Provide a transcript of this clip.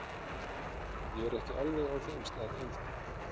Ég er ekki alveg á þeim stað enn þá.